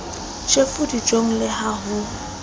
tjhefu dijong le ha ho